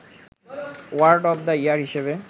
word of the year হিসেবে